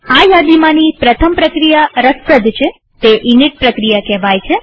આ યાદીમાંની પ્રથમ પ્રક્રિયા રસપ્રદ છેતે ઇનિટ પ્રક્રિયા કહેવાય છે